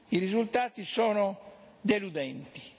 I risultati sono deludenti.